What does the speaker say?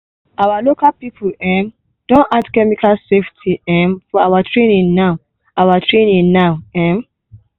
our local farming people um don add chemical safety um for our training now. our training now. um